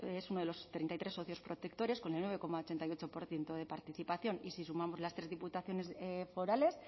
es uno de los treinta y tres socios protectores con el nueve coma ochenta y ocho por ciento de participación y si sumamos las tres diputaciones forales